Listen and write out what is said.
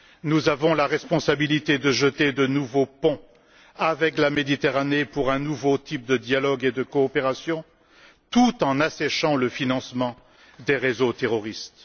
Nous avons la responsabilité de jeter de nouveaux ponts avec la Méditerranée pour un nouveau type de dialogue et de coopération tout en asséchant le financement des réseaux terroristes.